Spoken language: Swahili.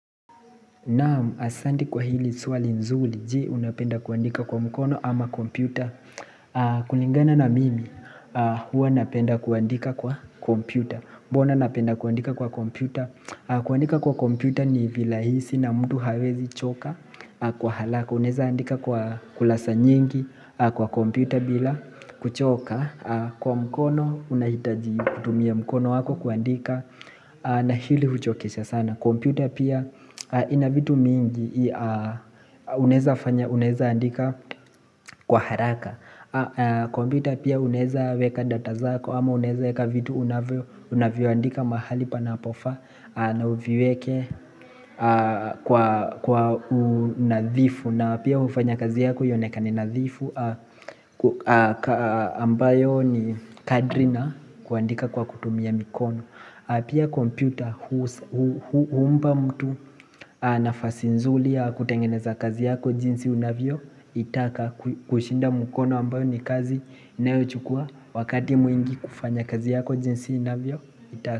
Naamu asandi kwa hili suali nzuli je unapenda kuandika kwa mkono ama kompyuta kulingana na mimi huwa napenda kuandika kwa kompyuta bona napenda kuandika kwa kompyuta kuandika kwa kompyuta ni vilahisi na mtu hawezichoka kwa halaka Unezaandika kwa kulasa nyingi kwa kompyuta bila kuchoka Kwa mkono unahitaji kutumia mkono wako kuandika na hili huchokesha sana kompyuta pia ina vitu mingi unaeza andika kwa haraka kompyuta pia uneza weka data zako ama uneza weka vitu unavyoandika mahali panapofa na uviweke kwa unadhifu na pia ufanye kazi yako yonekane nadhifu ambayo ni kadri na kuandika kwa kutumia mikono na pia kompyuta huumba mtu nafasi nzuli ya kutengeneza kazi yako jinsi unavyo itaka kushinda mukono ambayo ni kazi inayochukua wakati mwingi kufanya kazi yako jinsi unavyo itaka.